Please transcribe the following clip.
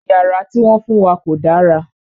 Yàrá ti wọn fun wa ko dàrà